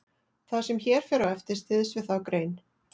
Það sem hér fer á eftir styðst við þá grein.